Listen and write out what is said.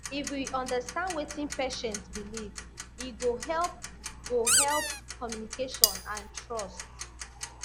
if we understand wetin patient believe e go help go help communication and trust